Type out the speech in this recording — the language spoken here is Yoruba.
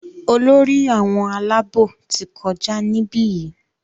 Olórí àwọn Àlàabò tí kọjá nibiyi.